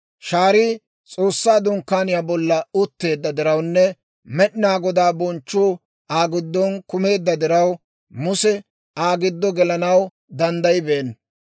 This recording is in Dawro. Shaarii S'oossaa Dunkkaaniyaa bolla utteedda dirawunne Med'inaa Godaa bonchchu Aa giddon kumeedda diraw, Muse Aa giddo gelanaw danddayibeenna.